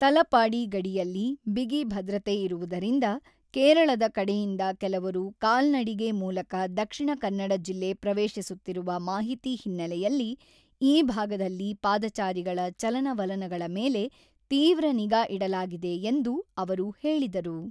ತಲಪಾಡಿ ಗಡಿಯಲ್ಲಿ ಬಿಗಿ ಭದ್ರತೆ ಇರುವುದರಿಂದ ಕೇರಳದ ಕಡೆಯಿಂದ ಕೆಲವರು ಕಾಲ್ನಡಿಗೆ ಮೂಲಕ ದಕ್ಷಿಣ ಕನ್ನಡ ಜಿಲ್ಲೆ ಪ್ರವೇಶಿಸುತ್ತಿರುವ ಮಾಹಿತಿ ಹಿನ್ನೆಲೆಯಲ್ಲಿ ಈ ಭಾಗದಲ್ಲಿ ಪಾದಚಾರಿಗಳ ಚಲನವಲನಗಳ ಮೇಲೆ ತೀವ್ರ ನಿಗಾ ಇಡಲಾಗಿದೆ ಎಂದು ಅವರು ಹೇಳಿದರು.